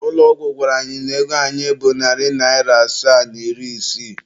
Ụlọ ọgwụ gwara anyị na ego anyị bụ narị naịra asaa na iri isii.